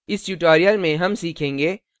इस tutorial में हम सीखेंगे